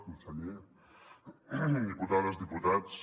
conseller diputades diputats